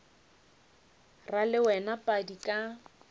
ra le wena padi ka